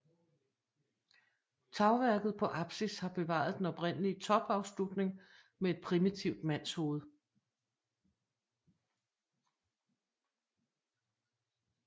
Tagværket på apsis har bevaret den oprindelige topafslutning med et primitivt mandshoved